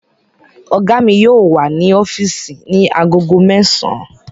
Ọ̀gá mi yóò wà ní ọ́físì ní agogo mẹ́sàn-án